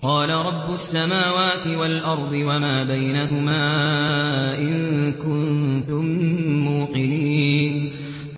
قَالَ رَبُّ السَّمَاوَاتِ وَالْأَرْضِ وَمَا بَيْنَهُمَا ۖ إِن كُنتُم مُّوقِنِينَ